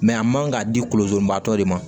a man ka di kolokolobaatɔ de ma